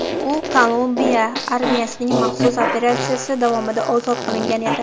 U Kolumbuiya armiyasining maxsus operatsiyasi davomida ozod qilingan edi.